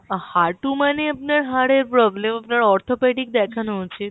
হাঁটু মানে আপনার হাড়ের problem আপনার arthropathy দেখানো উচিত